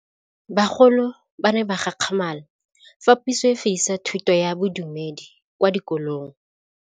Bagolo ba ne ba gakgamala fa Pusô e fedisa thutô ya Bodumedi kwa dikolong.